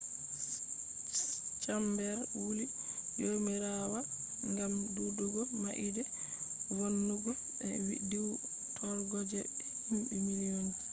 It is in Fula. chamber wulli jomirawa ngam’’dudugo maide vonnugo be diwtorgo je himbe million ji’’